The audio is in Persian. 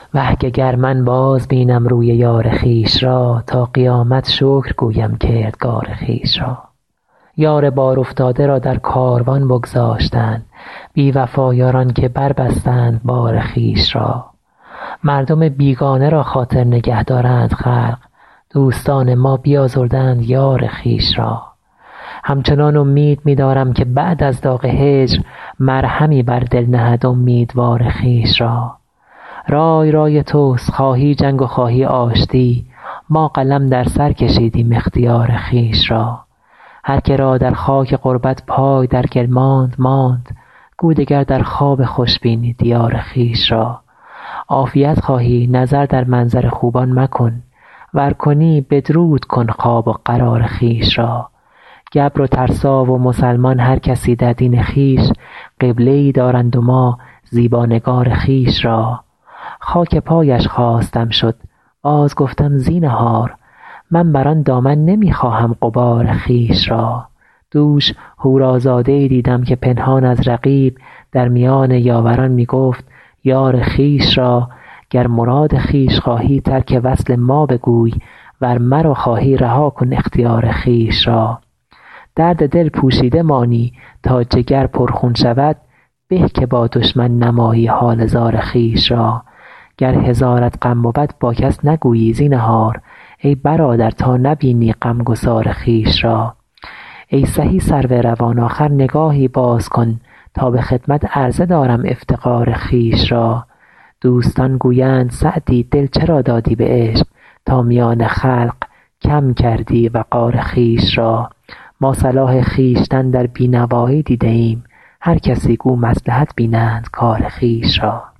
وه که گر من بازبینم روی یار خویش را تا قیامت شکر گویم کردگار خویش را یار بارافتاده را در کاروان بگذاشتند بی وفا یاران که بربستند بار خویش را مردم بیگانه را خاطر نگه دارند خلق دوستان ما بیازردند یار خویش را همچنان امید می دارم که بعد از داغ هجر مرهمی بر دل نهد امیدوار خویش را رای رای توست خواهی جنگ و خواهی آشتی ما قلم در سر کشیدیم اختیار خویش را هر که را در خاک غربت پای در گل ماند ماند گو دگر در خواب خوش بینی دیار خویش را عافیت خواهی نظر در منظر خوبان مکن ور کنی بدرود کن خواب و قرار خویش را گبر و ترسا و مسلمان هر کسی در دین خویش قبله ای دارند و ما زیبا نگار خویش را خاک پایش خواستم شد بازگفتم زینهار من بر آن دامن نمی خواهم غبار خویش را دوش حورازاده ای دیدم که پنهان از رقیب در میان یاوران می گفت یار خویش را گر مراد خویش خواهی ترک وصل ما بگوی ور مرا خواهی رها کن اختیار خویش را درد دل پوشیده مانی تا جگر پرخون شود به که با دشمن نمایی حال زار خویش را گر هزارت غم بود با کس نگویی زینهار ای برادر تا نبینی غمگسار خویش را ای سهی سرو روان آخر نگاهی باز کن تا به خدمت عرضه دارم افتقار خویش را دوستان گویند سعدی دل چرا دادی به عشق تا میان خلق کم کردی وقار خویش را ما صلاح خویشتن در بی نوایی دیده ایم هر کسی گو مصلحت بینند کار خویش را